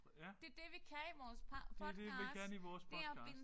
Ja. Det er det vi kan i vores podcast